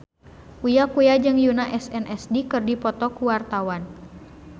Uya Kuya jeung Yoona SNSD keur dipoto ku wartawan